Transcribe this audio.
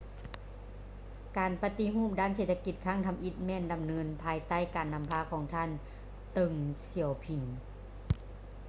ການປະຕິຮູບດ້ານເສດຖະກິດຄັ້ງທຳອິດ ແມ່ນດຳເນີນພາຍໃຕ້ການນຳພາຂອງທ່ານ ເຕີ້ງ ສຽວຜິງ